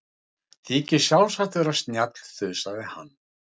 Þykist sjálfsagt vera snjall, þusaði hann.